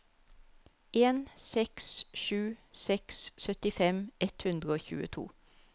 en seks sju seks syttifem ett hundre og tjueto